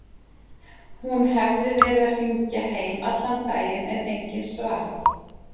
Hún hefði verið að hringja heim allan daginn en enginn svarað.